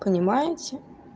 понимаете